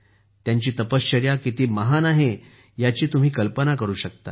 त्यांची तपश्चर्या किती महान आहे याची तुम्ही कल्पना करू शकता